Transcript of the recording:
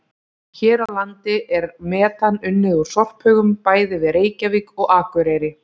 Hér á landi er metan unnið úr sorphaugum bæði við Reykjavík og Akureyri.